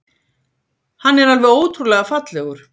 Hann er alveg ótrúlega fallegur.